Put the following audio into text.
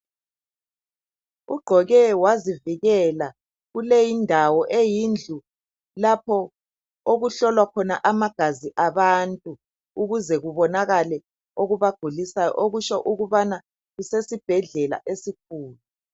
Ugqoke wazivikela kuleyindawo eyindlu lapho okuhlolwa khona amagazi abantu ukuze kubonakale okubagulisayo okutsho ukubana kusesi bhedlela esikhulu.